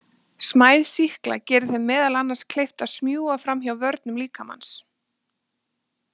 Smæð sýkla gerir þeim meðal annars kleift að smjúga fram hjá vörnum líkamans.